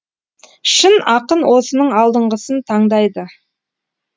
шын ақын осының алдыңғысын таңдайды